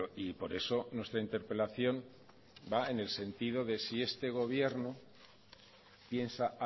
y por eso nuestra interpelación va en el sentido de si este gobierno piensa